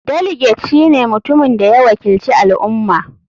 Delegate shine mutumin da ya wakilci al ummah.